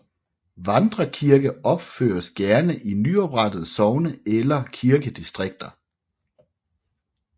Vandrekirker opføres gerne i nyoprettede sogne eller kirkedistrikter